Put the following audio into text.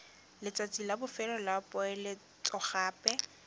letsatsi la bofelo la poeletsogape